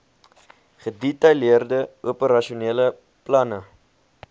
gedetailleerde operasionele planne